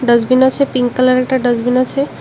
Dustbin আছে pink কালারের একটা ডাস্টবিন আছে।